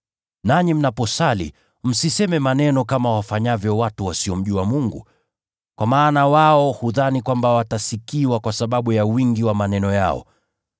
Nanyi mnaposali msiseme maneno kama wafanyavyo watu wasiomjua Mungu. Kwa maana wao hudhani kwamba watasikiwa kwa sababu ya wingi wa maneno yao.